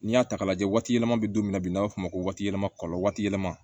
N'i y'a ta k'a lajɛ waati yɛlɛma bɛ don min na bi an b'a f'o ma ko waati yɛlɛma kɔlɔlɔ waati yɛlɛma